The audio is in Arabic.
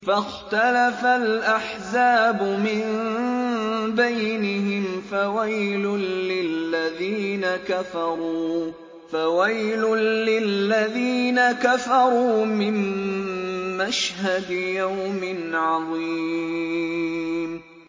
فَاخْتَلَفَ الْأَحْزَابُ مِن بَيْنِهِمْ ۖ فَوَيْلٌ لِّلَّذِينَ كَفَرُوا مِن مَّشْهَدِ يَوْمٍ عَظِيمٍ